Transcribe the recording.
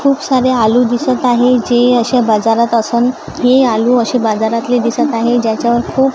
खुप सारे आलू दिसत आहे जे अश्या बाजारात असून हे आलू असे बाजारातले दिसत आहे ज्याच्यावर खूप--